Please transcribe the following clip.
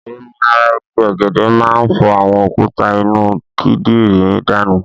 Omi ara igi ọ̀gẹ̀dè máa ń fọ àwọn òkúta inú kídìrí danù.